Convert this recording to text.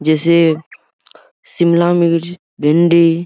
जैसा शिमला मिर्च भिंडी --